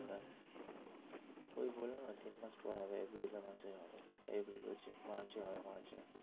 ওই বললাম না তিন মাস পর হবে april মাসেই হবে